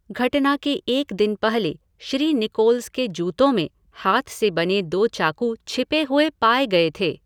घटना के एक दिन पहले, श्री निकोल्स के जूतों में, हाथ से बने दो चाकू छिपे हुए पाए गए थे।